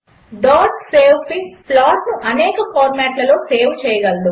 savefig ప్లాట్ను అనేక ఫార్మాట్లలో సేవ్ చేయగలదు